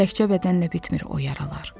Təkcə bədənlə bitmir o yaralar.